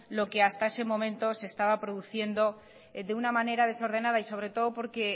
lo que hasta ese momento se estaba produciendo de una manera desordenada y sobre todo porque